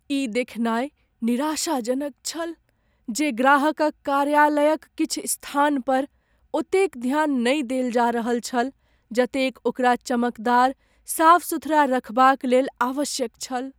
ई देखनाय निराशाजनक छल जे ग्राहकक कार्यालयक किछु स्थान पर ओतेक ध्यान नहि देल जा रहल छल जतेक ओकरा चमकदार साफ सुथरा रखबाक लेल आवश्यक छल।